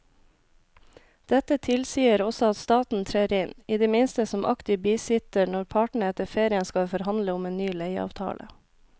Dette tilsier også at staten trer inn i det minste som aktiv bisitter når partene etter ferien skal forhandle om en ny leieavtale.